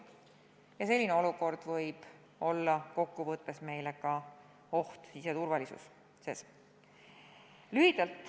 Ent selline olukord võib kokkuvõttes ohustada meie siseturvalisust.